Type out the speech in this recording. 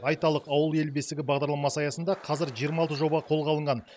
айталық ауыл ел бесігі бағдарламасы аясында қазір жиырма алты жоба қолға алынған